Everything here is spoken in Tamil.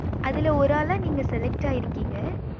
அதுல ஒரு ஆல நீங்க select ஆகிருகிங்க